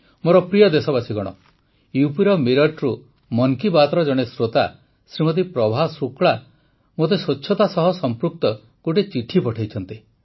ମୋର ପ୍ରିୟ ଦେଶବାସୀଗଣ ୟୁପିର ମିରଟରୁ ମନ୍ କୀ ବାତ୍ର ଜଣେ ଶ୍ରୋତା ଶ୍ରୀମତୀ ପ୍ରଭା ଶୁକ୍ଳା ମୋତେ ସ୍ୱଚ୍ଛତା ସହ ସଂପୃକ୍ତ ଗୋଟିଏ ଚିଠି ପଠାଇଛନ୍ତି